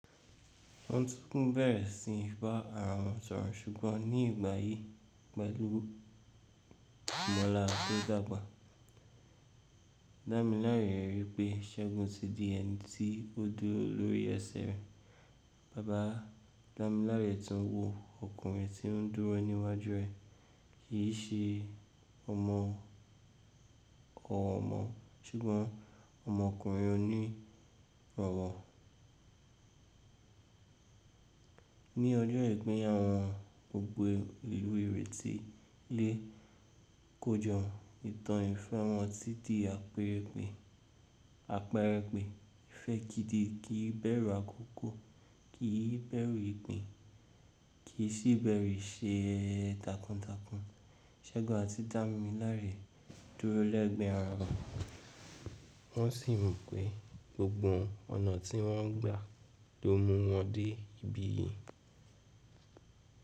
Wọn tún kún bẹ̀rẹ̀ sí í bá ara wọn sọ̀rọ̀ ṣùgbọ́n ní ìgbà yìí pẹ̀lú mọ́la tó dàgbà. Damilare rí pé Ṣẹ́gun ti di ẹni tí ó dúró lórí ẹsẹ̀ rẹ̀. Baba Damilare tún wo ọkùnrin tí ó dúró níwájú rẹ̀ kì í ṣe ọmọ ọ̀ọ́mọ ṣùgbọ́n ọmọkùnrin oní ìbọ̀wọ̀. Ní ọjọ́ ìgbéyàwó won, gbogbo ìwé rẹ̀ ti lé kọjo ìtàn yì fun omọ títí àpẹ̀rẹ̀pẹ̀. Àpẹ̀erẹ̀ pẹ̀ ìfẹ́ gìdi kí bẹ̀rù àkókò, kì í bẹ̀rù ìpín, kì í sì bẹ̀rù ìṣe takuntakun. Ṣẹ́gun àti Damilare dúró lẹ́gbẹ̀ẹ́ ara wọn, wọ́n sì mọ̀ pé gbogbo ọ̀nà tí wọ́n gbà ló mú wọn dé ibí yìí.